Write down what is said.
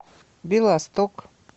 белосток